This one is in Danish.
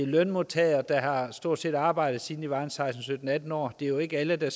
lønmodtagere der stort set har arbejdet siden de var seksten sytten atten år det er jo ikke alle der